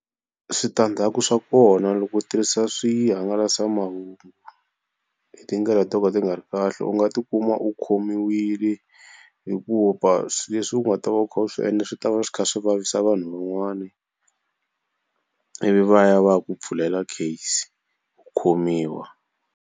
Switandzhaku swa kona loko u tirhisa swihangalasamahungu hi tindlela to ka ti nga ri kahle u nga tikuma u khomiwile hikuva swi leswi u nga ta va u kha u swi endla swi ta va swi kha swi vavisa vanhu van'wani ivi va ya va ya ku pfulela case u khomiwa.